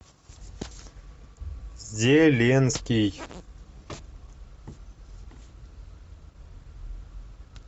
зеленский